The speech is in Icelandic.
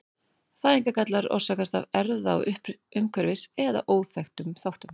Fæðingargallar orsakast af erfða-, umhverfis- eða óþekktum þáttum.